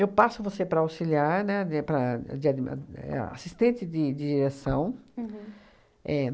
Eu passo você para auxiliar, né, de para de adm é a assistente de direção. Uhum. Éh